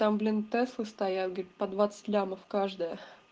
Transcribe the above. там блин тэслы стоят говорит по двадцать лямов каждая